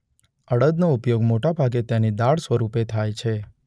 અડદનો ઉપયોગ મોટૅભાગે તેની દાળ સ્વરૂપે થાય છે.